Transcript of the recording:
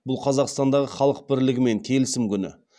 бұл қазақстандағы халық бірлігі мен келісім күні